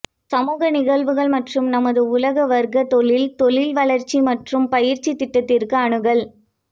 சமூக நிகழ்வுகள் மற்றும் நமது உலக வர்க்க தொழில் தொழில் வளர்ச்சி மற்றும் பயிற்சி திட்டத்திற்கு அணுகல்